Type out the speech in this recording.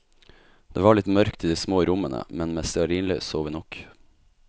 Det var litt mørkt i de små rommene, men med stearinlys så vi nok.